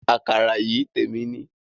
Àkàrà yìí témi ni